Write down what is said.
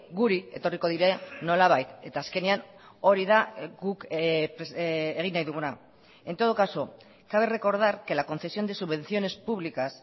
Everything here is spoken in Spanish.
guri etorriko dira nolabait eta azkenean hori da guk egin nahi duguna en todo caso cabe recordar que la concesión de subvenciones públicas